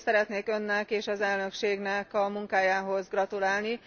Először is szeretnék Önnek és az Elnökségnek a munkájához gratulálni.